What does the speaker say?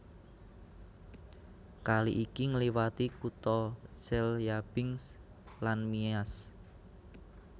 Kali iki ngliwati kutha Chelyabinsk lan Miass